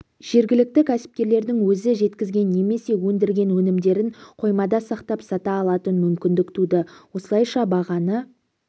жергілікті кәсіпкерлердің өзі жеткізген немесе өндірген өнімдерін қоймада сақтап сата алатын мүмкіндік туды осылайша бағаны